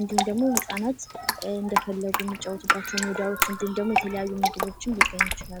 እንዲሁም ህጻናት እንደፈለጉ የሚጫወቱባቸው ሜዳዎች እና እንዲሁም ደግሞ ምግቦችም ሊኖሩ ይችላሉ።